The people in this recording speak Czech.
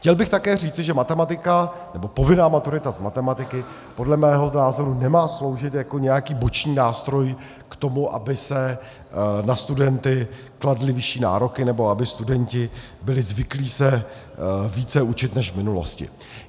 Chtěl bych také říci, že matematika, nebo povinná maturita z matematiky, podle mého názor nemá sloužit jako nějaký boční nástroj k tomu, aby se na studenty kladly vyšší nároky nebo aby studenti byli zvyklí se více učit než v minulosti.